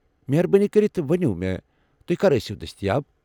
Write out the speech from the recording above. مہربٲنی كرِتھ ونِو مےٚ تُہۍ کر ٲسِو دستیاب ۔